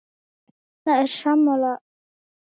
Erna er sammála því.